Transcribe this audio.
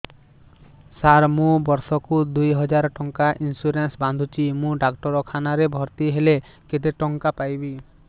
ସାର ମୁ ବର୍ଷ କୁ ଦୁଇ ହଜାର ଟଙ୍କା ଇନ୍ସୁରେନ୍ସ ବାନ୍ଧୁଛି ମୁ ଡାକ୍ତରଖାନା ରେ ଭର୍ତ୍ତିହେଲେ କେତେଟଙ୍କା ପାଇବି